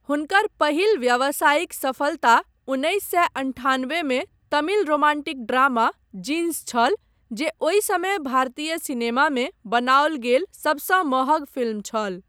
हुनकर पहिल व्यावसायिक सफलता उन्नैस सए अन्ठान्बे मे तमिल रोमांटिक ड्रामा 'जींस' छल, जे ओहि समय भारतीय सिनेमामे बनाओल गेल सबसँ महग फिल्म छल।